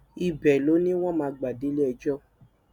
ibẹ ló ní wọn máa gbà déléẹjọ